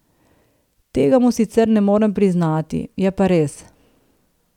Tega mu sicer ne morem priznati, je pa res.